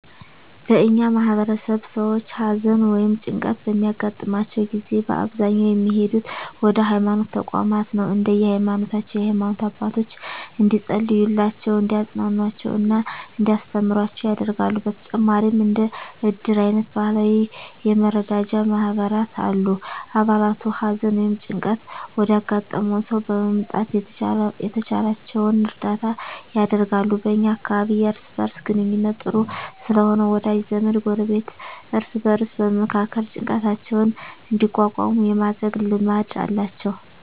በእኛ ማህበረሰብ ሰዎች ሀዘን ወ ይም ጭንቀት በሚያገጥማቸው ጊዜ በአብዛኛው የሚሄዱት ወደ ሀይማኖት ተቋማት ነው። እንደየ ሀይማኖታቸው የሃይማኖት አባቶች እንዲፀልዩላቸው፣ እንዲያፅናኑአቸው እና እንዲያስተምሩአቸው ያደርጋሉ። በተጨማሪም እንደ እድር አይነት ባህላዊ የመረዳጃ ማህበራት አሉ። አባላቱ ሀዘን ወይም ጭንቀት ወዳጋጠመው ሰው በመምጣት የተቻላቸውን እርዳታ ያደርጋሉ። በ እኛ አካባቢ የእርስ በእርስ ግንኙነቱ ጥሩ ስለሆነ ወዳጅ ዘመድ፣ ጎረቤት እርስ በእርስ በመመካከር ጭንቀታቸውን እንዲቋቋሙ የማድረግ ልማድ አላቸው።